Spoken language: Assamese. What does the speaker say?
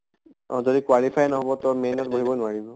অ যদি qualify নহব main ত বহিব নোৱাৰিব।